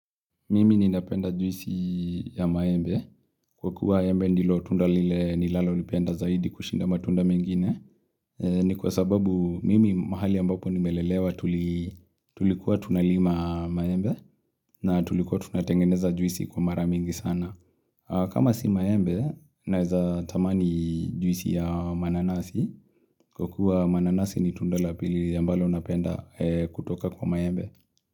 Mimi ninapenda juisi ya mayembe. Kwa kuwa mayembe ndilo tunda lile nilalo lipenda zaidi kushinda matunda mengine. Ni kwa sababu mimi mahali ambapo nimelelewa tulikuwa tunalima mayembe na tulikuwa tunatengeneza juisi kwa maramingi sana. Kama si mayembe, naiza tamani juisi ya mananasi. Kwa kuwa mananasi ni tunda lapili ya mbalo napenda kutoka kwa mayembe.